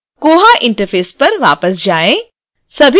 koha interface पर वापस जाएँ